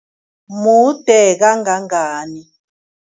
Mude kangangani?